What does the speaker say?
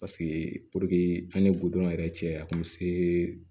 Paseke an ye gudɔrɔn yɛrɛ cɛ a kun be se